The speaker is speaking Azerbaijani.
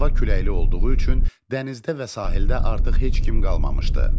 Hava küləkli olduğu üçün dənizdə və sahildə artıq heç kim qalmamışdı.